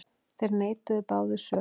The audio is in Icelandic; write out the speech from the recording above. Þeir neituðu báðir sök.